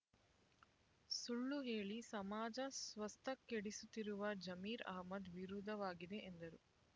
ಸುಳ್ಳು ಹೇಳಿ ಸಮಾಜ ಸ್ವಾಸ್ಥ ಕೆಡಿಸುತ್ತಿರುವ ಜಮೀರ್ ಅಹ್ಮದ್ ವಿರುದ್ಧವಾಗಿದೆ ಎಂದರು